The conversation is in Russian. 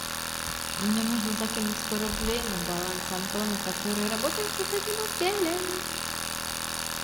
мне нужно закинуть сто рублей на баланс антона который работает в соседнем отделе